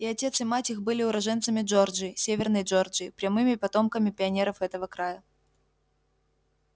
и отец и мать их были уроженцами джорджии северной джорджии прямыми потомками пионеров этого края